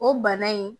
O bana in